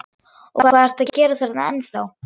Og hvað ertu að gera þarna ennþá?